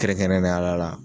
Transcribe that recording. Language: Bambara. kɛrɛnkɛrɛnnen yala